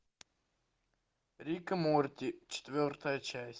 рик и морти четвертая часть